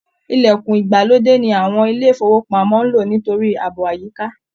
Ilẹ̀kùn ìgbàlódé ni àwọn ilé ifowopamọ n ló nítorí ààbò àyíká